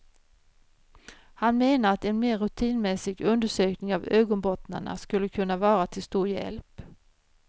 Han menar att en mer rutinmässig undersökning av ögonbottnarna skulle kunna vara till stor hjälp.